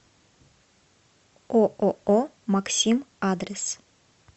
ооо максим адрес